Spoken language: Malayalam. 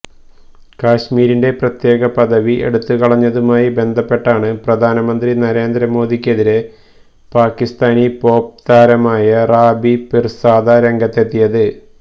കാശ്മീരിന്റെ പ്രത്യേക പദവി എടുത്തുകളഞ്ഞതുമായി ബന്ധപ്പെട്ടാണ് പ്രധാനമന്ത്രി നരേന്ദ്ര മോദിക്കെതിരെ പാകിസ്താനി പോപ് താരമായ റാബി പിര്സാദ രംഗത്തെത്തിയത്